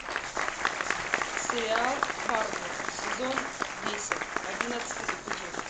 сериал фарго сезон десять одиннадцатый эпизод